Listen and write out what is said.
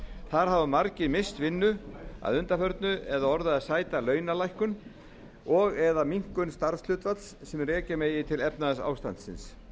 þar hafi margir misst vinnu að undanförnu eða orðið að sæta launalækkun og eða minnkun starfshlutfalls sem rekja megi til efnahagsástandsins